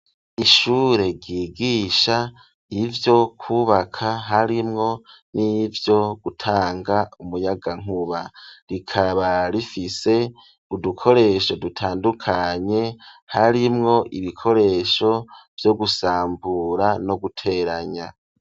Ishure ryigisha ivyo kubaka harimwo n'ivyo gutanga umuyagankuba, rikaba rifise udukoresho dutandukanye harimwo ibikoresho vyo gusambura no guteranya.